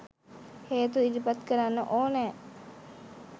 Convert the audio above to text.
හේතු ඉදිරිපත් කරන්න ඕනෑ